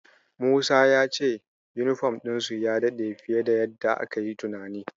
Musa ya ce yunifom ɗin sun ya daɗe fiye da yadda akayi tunani.